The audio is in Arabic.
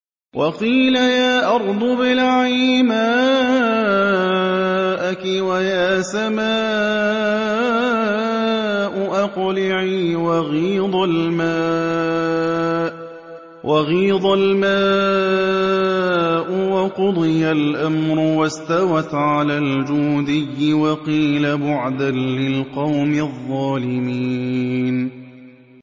وَقِيلَ يَا أَرْضُ ابْلَعِي مَاءَكِ وَيَا سَمَاءُ أَقْلِعِي وَغِيضَ الْمَاءُ وَقُضِيَ الْأَمْرُ وَاسْتَوَتْ عَلَى الْجُودِيِّ ۖ وَقِيلَ بُعْدًا لِّلْقَوْمِ الظَّالِمِينَ